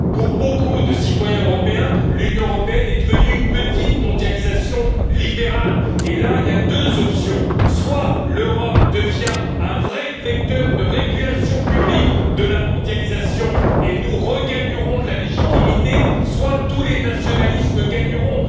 Pour beaucoup de citoyens européens, l'Union européenne est devenue une petite mondialisation libérale et là, il y a deux options soit l'Europe devient un vrai vecteur de régulation publique de la mondialisation et nous regagnerons en légitimité, soit tous les nationalismes gagneront.